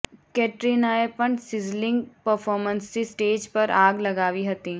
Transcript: કેટરિનાએ પણ સિઝલિંગ પરફોર્મન્સથી સ્ટેજ પર આગ લગાવી હતી